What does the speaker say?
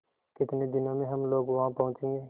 कितने दिनों में हम लोग वहाँ पहुँचेंगे